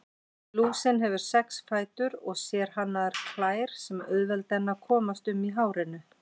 Lúsin hefur sex fætur og sérhannaðar klær sem auðvelda henni að komast um í hárinu.